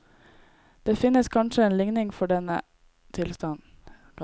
Det finnes kanskje en likning for denne tilstanden.